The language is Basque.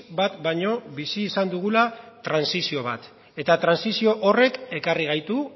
bat baino bizi izan dugula trantsizio bat eta trantsizio horrek ekarri gaitu